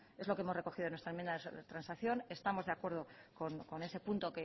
es lo que hemos recogido en nuestra enmienda de transacción estamos de acuerdo con ese punto